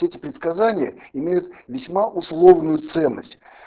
эти предсказания имеют весьма условную ценность